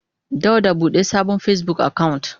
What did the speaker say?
Dauda bude sabon Facebook account.